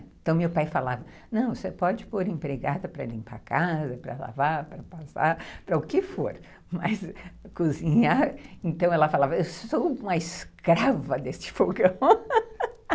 Então, meu pai falava, não, você pode pôr empregada para limpar a casa, para lavar, para passar, para o que for, mas cozinhar... Então, ela falava, eu sou uma escrava deste fogão.